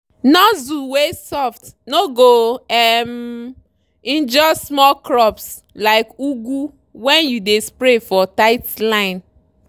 nozzle wey soft no go um injure small crops like ugu when you dey spray for tight line.